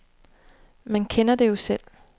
Man kender det jo selv.